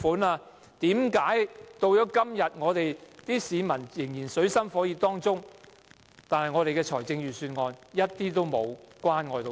為甚麼到了今天，香港市民仍處於水深火熱當中，但預算案卻一點也沒有關愛他們？